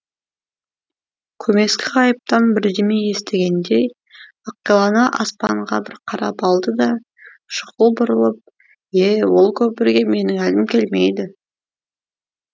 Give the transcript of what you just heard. көмескі ғайыптан бірдеме естігендей ақилана аспанға бір қарап алды да шұғыл бұрылып е ол кәпірге менің әлім келмейді